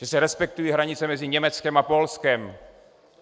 Že se respektují hranice mezi Německem a Polskem.